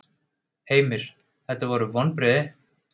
Heimir: Þetta eru vonbrigði?